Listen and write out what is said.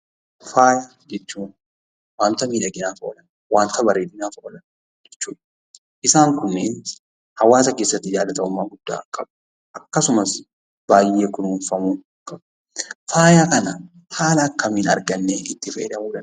Faaya jechuun waanta miidhaginaaf oolan, waanta bareedinaaf oolan jechuudha. Isaan kunneen hawaasa keessatti yaada tokkummaa guddaa qabudha. Akkasumas baay'ee kunuunfamuu qabu. Faaya kana haala akkamiin argannee itti fayyadamuu dandeenya?